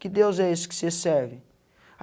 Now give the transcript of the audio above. Que Deus é esse que você serve?